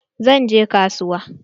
Zan je kasuwa.